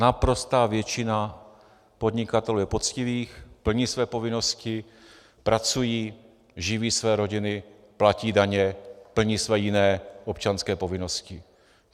Naprostá většina podnikatelů je poctivých, plní své povinnosti, pracují, živí své rodiny, platí daně, plní své jiné občanské povinnosti.